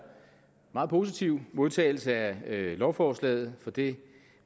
meget positiv modtagelse af lovforslaget for det